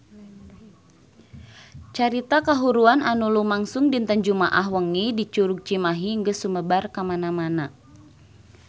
Carita kahuruan anu lumangsung dinten Jumaah wengi di Curug Cimahi geus sumebar kamana-mana